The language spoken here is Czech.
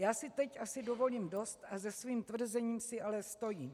Já si teď asi dovolím dost a za svým tvrzením si ale stojím.